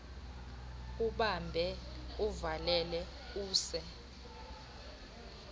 ubambe uvalele use